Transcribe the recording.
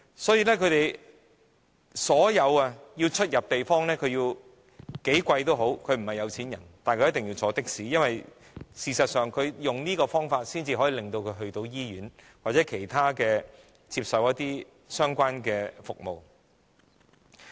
所以，他們雖然並非富裕人士，但出入所有地方，也要乘坐的士，因為唯有用這種方式，他們才能抵達醫院或其他地方接受相關服務。